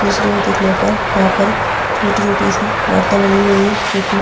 दूसरी ओर देख़ने पर यहाँ पर छोटी-छोटी सी इमारतें बनी हुई है जो कि --